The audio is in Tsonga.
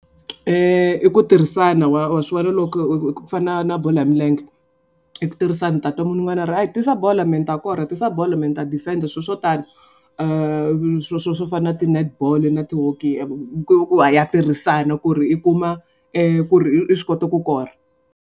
I ku tirhisana wa wa swi vona loko ku fana na bolo ya milenge. I ku tirhisana u tatwa munhu un'wana a ri a yi tisa bolo me ni ta kora tisa bolo me ni ta defend-a swilo swo tani. Swo swo swo fana na ti-net ball na ti-hockey tirhisana ku ri i kuma ku ri i swi kota ku kora.